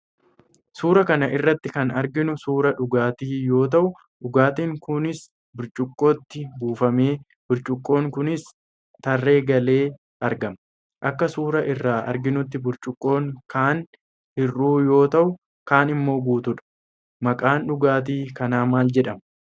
Suuraa kana irratti kan arginu suuraa dhugaatii yoo ta'u, dhugaatiin kunis burcuqqootti buufamee, burcuqqoon kunis tarree galee argama. Akka suuraa irraa arginuttis burcuqqoon kaan hir'uu yoo ta'u, kaan immoo guuttudha. Maqaan dhugaatii kana maal jedhama?